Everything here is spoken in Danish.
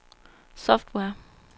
software